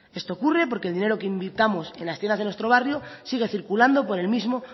esto ocurre porque el dinero que invirtamos en las tiendas de nuestro barrio sigue circulando por el mismo